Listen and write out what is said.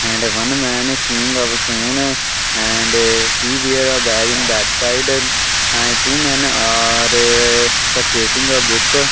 and one man seeing a phone and he wear a bag in backside and two men are purchasing a book.